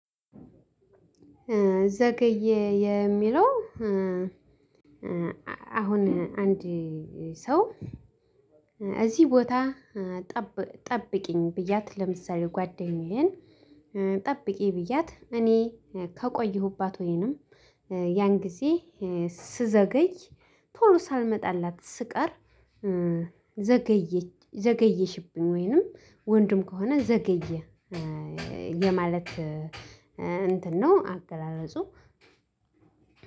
ዘገየ የሚለው አሁን አንድ ሰው እዚህ ቦታ ጠብቂኝ ብያት ለምሳሌ ጓደኛዬን ጠብቂ ብያት እኔ ከቆየሁባት ወይንም ያን ጊዜ ስዘገይ ቶሎ ሳልመጣላት ስቀር። ዘገየሽብኝ ወይንም ወንድም ከሆነ ዘገየህ የማለት እንትን ነው አገላለጹ።